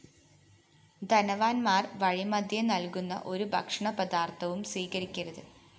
ധനവാന്മാര്‍ വഴിമദ്ധ്യേനല്‍കുന്ന ഒരു ഭക്ഷണപദാര്‍ത്ഥവും സ്വീകരിക്കരുത്